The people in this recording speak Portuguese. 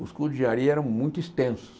Os cursos de engenharia eram muito extensos.